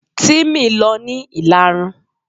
Timi lọ ní ìlarun.